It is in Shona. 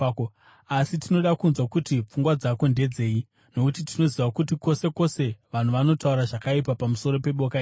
Asi tinoda kunzwa kuti pfungwa dzako ndedzei, nokuti tinoziva kuti kwose kwose vanhu vanotaura zvakaipa pamusoro peboka iri.”